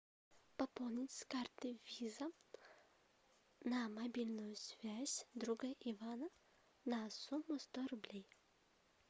пополнить с карты виза на мобильную связь друга ивана на сумму сто рублей